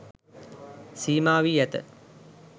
සීමා වී ඇත.